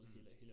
Mh